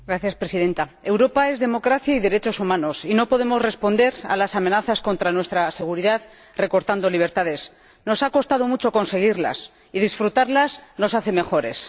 Señora Presidenta, Europa es democracia y derechos humanos, y no podemos responder a las amenazas contra nuestra seguridad recortando libertades nos ha costado mucho conseguirlas y disfrutarlas, nos hacen mejores.